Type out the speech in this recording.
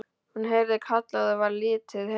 Hún heyrði kallað og varð litið heim.